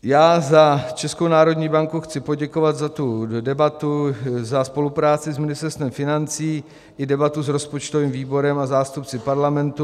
Já za Českou národní banku chci poděkovat za tu debatu, za spolupráci s Ministerstvem financí i debatu s rozpočtovým výborem a zástupci Parlamentu.